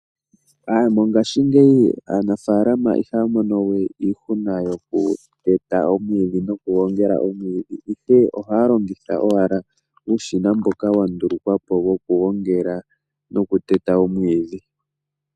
Mongashingeyi aanafaalama ihaya mono we iihuna yokuteta nokugongela omwiidhi, oshoka ohaya longitha owala uushina mboka wa ndulukwa po wokugongela nokuteta omwiidhi.